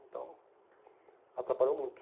Então, atrapalhou muito.